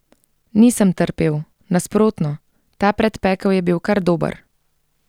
Nisem trpel, nasprotno, ta predpekel je bil kar dober.